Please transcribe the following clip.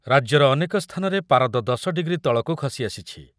ରାଜ୍ୟର ଅନେକ ସ୍ଥାନରେ ପାରଦ ଦଶ ଡିଗ୍ରୀ ତଳକୁ ଖସିଆସିଛି ।